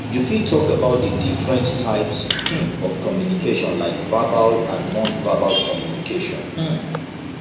you fit talk about di different types um of communication like verbal and nonverbal communication um